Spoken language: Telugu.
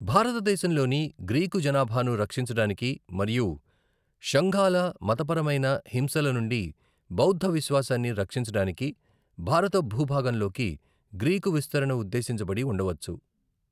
భారతదేశంలోని గ్రీకు జనాభాను రక్షించడానికి మరియు షుంగాల మతపరమైన హింసల నుండి బౌద్ధ విశ్వాసాన్ని రక్షించడానికి భారత భూభాగంలోకి గ్రీకు విస్తరణ ఉద్దేశించబడి ఉండవచ్చు.